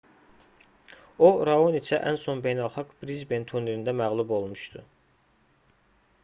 o raoniçə ən son beynəlxalq brisben turnirində məğlub olmuşdu